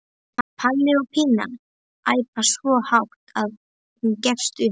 Palli og Pína æpa svo hátt að hún gefst upp.